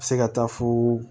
Se ka taa fo